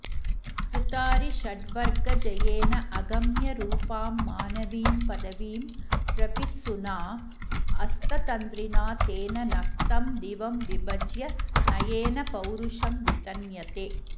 कृतारिषड्वर्गजयेन अगम्यरूपां मानवीं पदवीं प्रपित्सुना अस्ततन्द्रिणा तेन नक्तं दिवं विभज्य नयेन पौरुषं वितन्यते